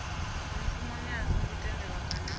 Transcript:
mushumoni a songo tendelwa kana